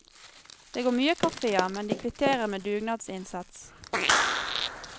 Det går mye kaffe, ja, men de kvitterer med dugnadsinnsats.